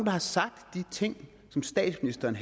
har sagt de ting som statsministeren